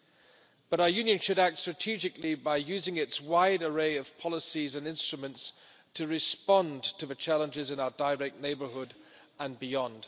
However, our Union should act strategically by using its wide array of policies and instruments to respond to the challenges in our direct neighbourhood and beyond.